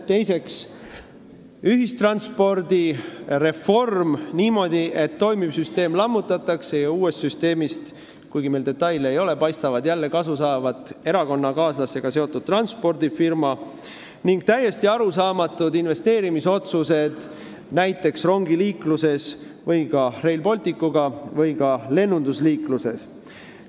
Teiseks, ühistranspordireform niimoodi, et toimiv süsteem lammutatakse ja uuest süsteemist – kuigi meil detaile ei ole – paistab jälle kasu saavat erakonnakaaslasega seotud transpordifirma, ning täiesti arusaamatud investeerimisotsused näiteks rongiliikluses, Rail Balticuga seoses või ka lennuliikluses.